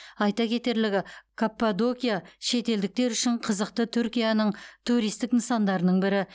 айта кетерлігі каппадокия шетелдіктер үшін қызықты түркияның туристік нысандарының бірі